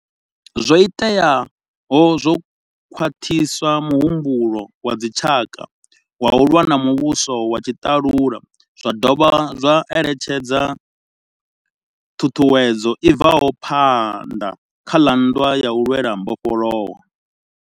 Zwo iteaho zwo khwaṱhisa muhumbulo wa dzitshaka wa u lwa na muvhuso wa tshiḽalula zwa dovha zwa ḽetshedza ṱhuṱhuwedzo i bvelaho phanḓa kha nndwa ya u lwela mbofholowo.